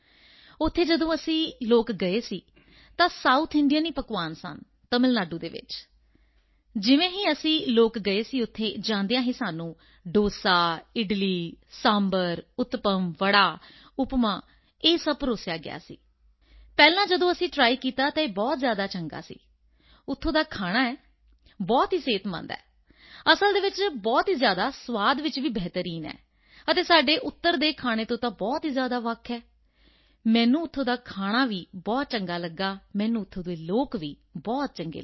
ਉੱਥੇ ਜਦੋਂ ਅਸੀਂ ਲੋਕ ਗਏ ਸੀ ਤਾਂ ਸਾਊਥ ਇੰਡੀਅਨ ਪਕਵਾਨ ਸਨ ਤਮਿਲ ਨਾਡੂ ਵਿੱਚ ਜਿਵੇਂ ਹੀ ਅਸੀਂ ਗਏ ਸੀ ਉੱਥੇ ਜਾਂਦਿਆਂ ਹੀ ਸਾਨੂੰ ਡੋਸਾ ਇਡਲੀ ਸਾਂਬਰ ਉਤਪਮ ਵੜਾ ਉਪਮਾ ਇਹ ਸਭ ਪਰੋਸਿਆ ਗਿਆ ਸੀ ਪਹਿਲਾਂ ਜਦੋਂ ਅਸੀਂ ਟਰਾਈ ਕੀਤਾ ਤਾਂ ਇਹ ਬਹੁਤ ਜ਼ਿਆਦਾ ਚੰਗਾ ਸੀ ਉੱਥੋਂ ਦਾ ਖਾਣਾ ਬਹੁਤ ਹੀ ਸਿਹਤਮੰਦ ਹੈ ਅਸਲ ਵਿੱਚ ਬਹੁਤ ਹੀ ਜ਼ਿਆਦਾ ਸਵਾਦ ਚ ਵੀ ਬਿਹਤਰੀਨ ਹੈ ਅਤੇ ਸਾਡੇ ਉੱਤਰ ਦੇ ਖਾਣੇ ਤੋਂ ਬਹੁਤ ਹੀ ਜ਼ਿਆਦਾ ਵੱਖ ਹੈ ਮੈਨੂੰ ਉੱਥੋਂ ਦਾ ਖਾਣਾ ਵੀ ਬਹੁਤ ਚੰਗਾ ਲੱਗਾ ਮੈਨੂੰ ਉੱਥੋਂ ਦੇ ਲੋਕ ਵੀ ਬਹੁਤ ਚੰਗੇ ਲਗੇ